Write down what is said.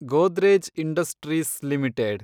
Godrej industries limited